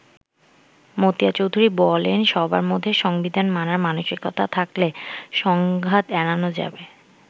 মতিয়া চৌধুরী বলেন সবার মধ্যে সংবিধান মানার মানসিকতা থাকলে সংঘাত এড়ানো যাবে।